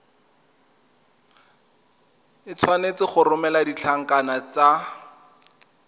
tshwanetse go romela ditlankana tse